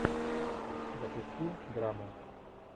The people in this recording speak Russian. запусти драму